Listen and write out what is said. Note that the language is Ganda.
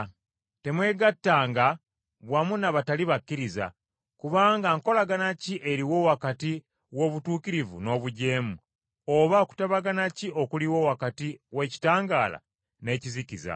Temwegattanga wamu n’abatali bakkiriza, kubanga nkolagana ki eriwo wakati w’obutuukirivu n’obujeemu, oba kutabagana ki okuliwo wakati w’ekitangaala n’ekizikiza?